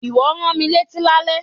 Ìwọ rán mi létí lálẹ́.